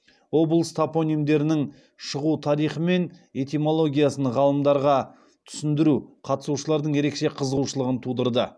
облыс топонимдерінің шығу тарихы мен этимологиясын ғалымдарға түсіндіру қатысушылардың ерекше қызығушылығын тудырды